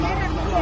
Yaxşı, yaxşı.